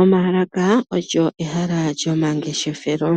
Omaalaka olyo ehala lyomangeshefelo,